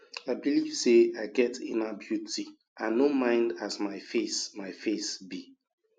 i belive sey i get inner beauty i no mind as my face my face be